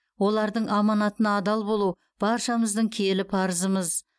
олардың аманатына адал болу баршамыздың киелі парызымыз